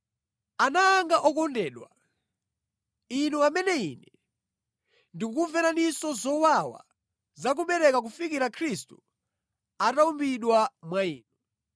Ana anga okondedwa, inu amene ine ndikukumveraninso zowawa za kubereka kufikira Khristu atawumbidwa mwa inu,